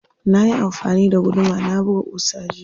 Nayi amfani da guduma na buga ƙusa jiya.